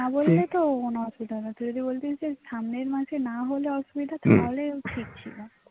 না বললে তো কোনো অসুবিধা নেই তুই যদি বলতিস যে সামনের মাসে না হলে অসুবিধা আছে তাহলে ঠিক ছিল